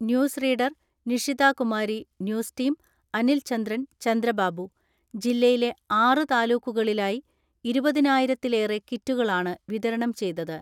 News reader, Nishitha Kumari, news team, Anil Chandran, Chandrababu. ജില്ലയിലെ ആറു താലൂക്കുകളിലായി ഇരുപതിനായിരത്തിലേറെ കിറ്റുകളാണ് വിതരണം ചെയ്തത്.